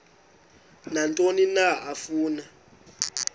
nantoni na afuna